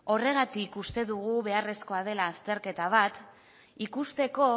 horregatik uste dugu beharrezkoa dela azterketa bat ikusteko